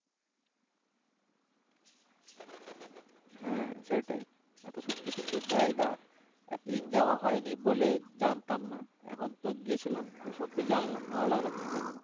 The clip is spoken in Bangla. হ্যা সেটাই এতো সুন্দর সুন্দর জায়গা এতোদিন যাওয়া হয়নি বলে জানতাম না এখন তো গিয়েছিলাম তো সত্যি জানলাম ভালো জায়গা গুলো